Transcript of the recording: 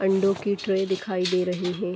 अंडों की ट्रे दिखाई दे रही हैं।